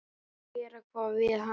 Og gera hvað við hann?